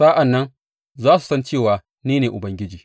Sa’an nan za su san cewa ni ne Ubangiji.